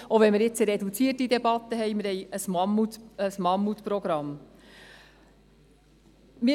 Selbst wenn wir eine reduzierte Debatte führen werden, steht uns ein Mammutprogramm bevor.